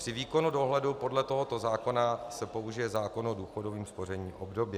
Při výkonu dohledu podle tohoto zákona se použije zákon o důchodovém spoření obdobně.